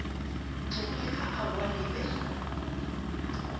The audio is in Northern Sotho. tlogile ka aowa le be